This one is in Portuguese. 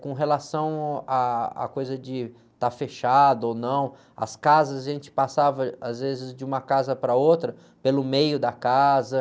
Com relação, ah, à coisa de estar fechado ou não, as casas, a gente passava às vezes de uma casa para outra, pelo meio da casa.